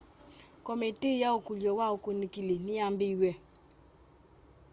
komitii ya ukulyo wa ukunikili niyambiiw'e